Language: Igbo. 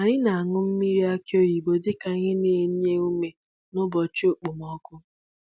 Anyị na-aṅụ mmiri aki oyibo dị ka ihe na-enye ume nụbọchị okpomọkụ.